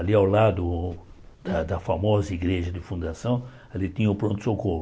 Ali ao lado da da famosa igreja de fundação, ali tinha o pronto-socorro.